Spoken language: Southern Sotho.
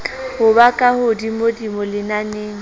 ho ba ka hodimodimo lenaneng